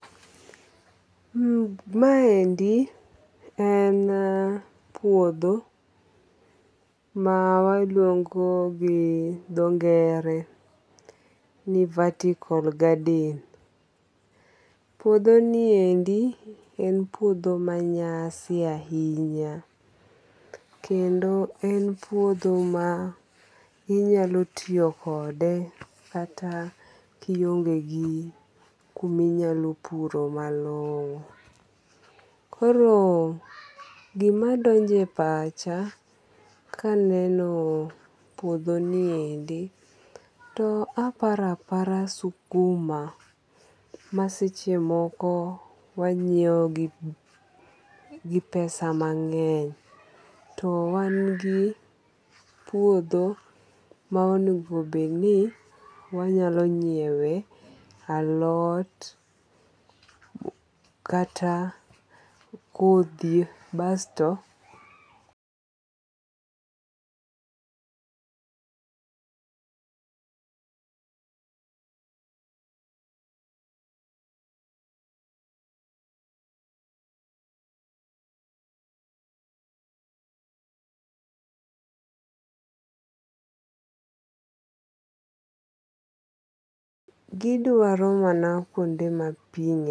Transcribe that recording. Maendi en puodho mawaluongo gi dho ngere ni vertical garden. Puodhoni endi en puodho manyasi ahinya, kendo en puodho mainyalo tiyo kode kata kionge gi kuminyalo puro malong'o. Koro gimadonje e pacha kaneno puodho niendi, to apara apara sukuma masechemoko wanyieo gi pesa mang'eny, to wan gi puodho maonego bedni wanyalo nyiewe alot, kata kothi basto. Gidwaro mana kuonde mapii ng'eny.